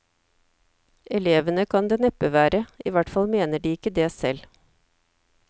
Elevene kan det neppe være, i hvert fall mener de ikke det selv.